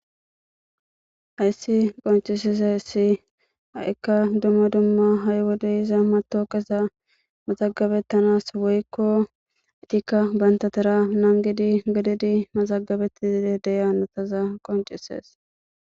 Hayssi qoncises ayssi ha7ikka dumma dumma ha7i wode iza mato qeza maxagabettanas woykko acikka bantatara nangidi gadidi maxagabettide deyanataza qoncisees.